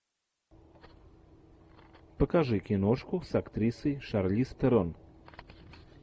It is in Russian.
покажи киношку с актрисой шарлиз терон